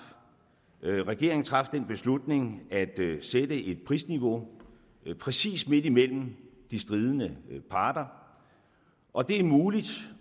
regeringen traf den beslutning at sætte et prisniveau præcis midt imellem de stridende parter og det er muligt